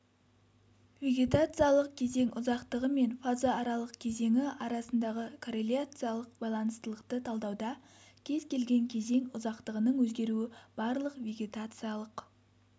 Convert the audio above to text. вегетациялық кезең ұзақтығы мен фаза аралық кезеңі арасындағы корреляциялық байланыстылықты талдауда кез-келген кезең ұзақтығының өзгеруі барлық вегетациялық